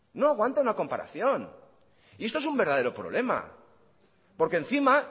no aguanta una comparación y esto es un verdadero problema porque encima